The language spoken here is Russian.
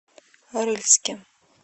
рыльске